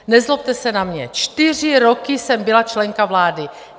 Nezlobte se na mě, čtyři roky jsem byla členka vlády.